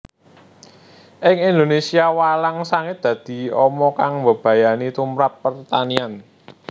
Ing Indonésia walang sangit dadi ama kang mbebayani tumprap pertanian